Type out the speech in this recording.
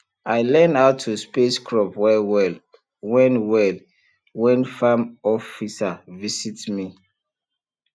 i learn how to space crop well well when well when farm officer visit me